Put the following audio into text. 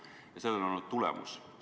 Ja sellel on olnud tulemus.